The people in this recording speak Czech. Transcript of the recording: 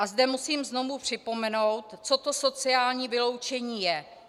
A zde musím znovu připomenout, co to sociální vyloučení je.